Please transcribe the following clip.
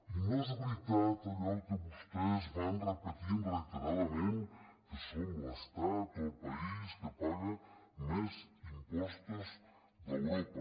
i no és veritat allò que vostès van repetint reiteradament que som l’estat o el país que paga més impostos d’europa